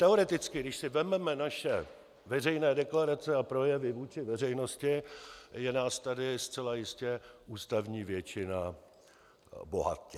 Teoreticky, když si vezmeme naše veřejné deklarace a projevy vůči veřejnosti, je nás tady zcela jistě ústavní většina bohatě.